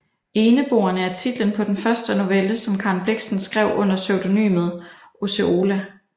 Eneboerne er titlen på den første novelle som Karen Blixen skrev under pseudonymet Osceola